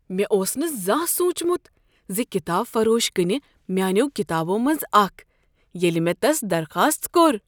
مےٚ اوس نہٕ زانٛہہ سوٗنٛچمت ز کتاب فروش كٕنہِ میٲنیو كِتابو منزٕ اكھ، ییٚلہِ مےٚ تس درخاست كوٚر۔